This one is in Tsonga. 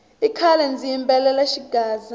i khale ndzi yimbelela xigaza